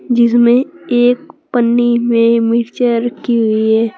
जिसमें एक पन्नी में मिर्चा रखी की हुई है।